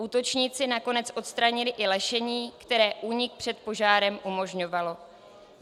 Útočníci nakonec odstranili i lešení, které únik před požárem umožňovalo.